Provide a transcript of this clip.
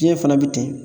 Diɲɛ fana bɛ ten